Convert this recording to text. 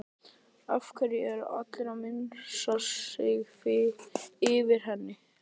Af hverju er allir að missa sig yfir henni?